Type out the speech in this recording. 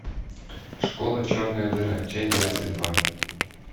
школа черная дыра часть двадцать два